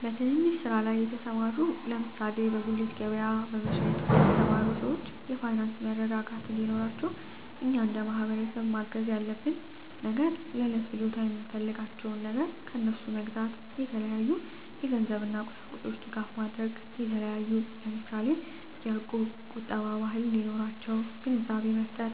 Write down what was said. በትንንሽ ስራ ላይ የተሰማሩ ለምሳሌ በጉሊት ገበያ በመሸጥ የተሰማሩ ሰወች የፋይናንስ መረጋጋት እንዴኖራቸው እኛ እንደማህበረሰብ ማገዝ ያለብን ነገር ለእለት ፍጆታ የምንፈልጋቸውን ነገር ከነሡ መግዛታ የተለያዩ የገንዘብ እና ቁሳቁሶች ድጋፍ ማድረግ የተለያዩ ለምሳሌ የእቁብ ቁጠባ ባህል እንዲኖራቸው ግንዛቤ መፍጠር